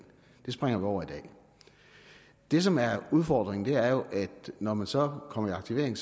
det springer vi over i dag det som er udfordringen er jo at når man så kommer i aktivering